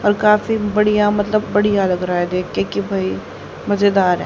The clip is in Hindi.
कल काफी बढ़िया मतलब बढ़िया लग रहा है देख के की भाई मजेदार है।